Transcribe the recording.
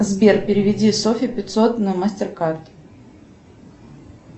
сбер переведи софи пятьсот на мастер кард